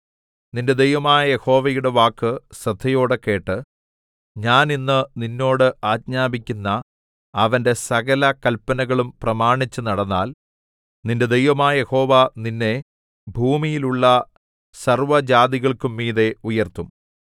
നിന്റെ ദൈവമായ യഹോവയുടെ വാക്ക് ശ്രദ്ധയോടെ കേട്ട് ഞാൻ ഇന്ന് നിന്നോട് ആജ്ഞാപിക്കുന്ന അവന്റെ സകല കല്പനകളും പ്രമാണിച്ചു നടന്നാൽ നിന്റെ ദൈവമായ യഹോവ നിന്നെ ഭൂമിയിലുള്ള സർവ്വജാതികൾക്കും മീതെ ഉയർത്തും